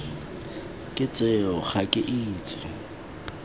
ke tseo ga ke itse